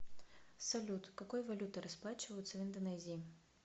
салют какой валютой расплачиваются в индонезии